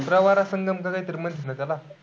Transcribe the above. प्रवरा संगम का? काय तरी म्हणतात ना त्याला?